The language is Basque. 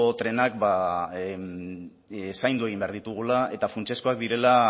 trenak zaindu egin behar ditugula eta funtsezkoak direla